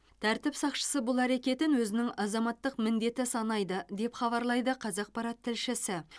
тәртіп сақшысы бұл әрекетін өзінің азаматтық міндеті санайды деп хабарлайды қазақпарат тілшісі